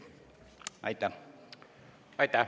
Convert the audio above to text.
Aitäh!